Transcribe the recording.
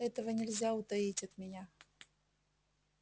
этого нельзя утаить от меня